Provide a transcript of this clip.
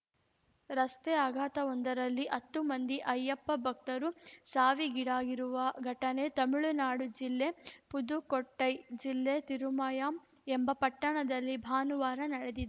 ರಸ್ತೆ ಅಪಘಾತವೊಂದರಲ್ಲಿ ಹತ್ತು ಮಂದಿ ಅಯ್ಯಪ್ಪ ಭಕ್ತರು ಸಾವಿಗೀಡಾಗಿರುವ ಘಟನೆ ತಮಿಳುನಾಡು ಜಿಲ್ಲೆಯ ಪುದುಕೊಟ್ಟೈ ಜಿಲ್ಲೆ ತಿರುಮಾಯಂ ಎಂಬ ಪಟ್ಟಣದಲ್ಲಿ ಭಾನುವಾರ ನಡೆದಿದ್